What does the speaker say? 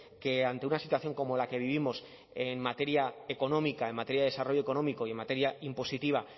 que ante una situación como la que vivimos en materia económica en materia de desarrollo económico y en materia impositiva